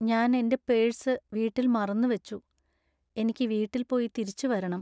ഞാൻ എന്‍റെ പേഴ്സ് വീട്ടിൽ മറന്നു വച്ചു. എനിക്ക് വീട്ടിൽ പോയി തിരിച്ചുവരണം .